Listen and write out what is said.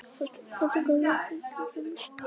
Fótspor nokkurra dýrategunda.